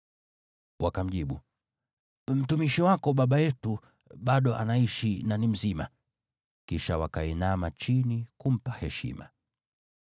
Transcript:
Wakamjibu, “Mtumishi wako baba yetu bado anaishi na ni mzima.” Kisha wakainama chini kumpa heshima.